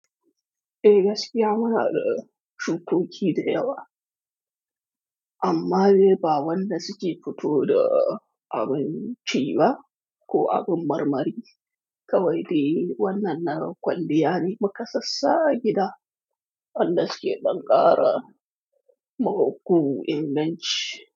Eh gaskiya muna da shukoki da yawa. Amma de ba wadanda suke fito da abin ciba ko abin marmari. Kawai dai wannan nakwalliya ne mukasassa a gida, wanda suke ɗankara, magu, inganci.